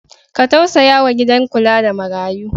Ka tausaya wa gidan kula da marayu.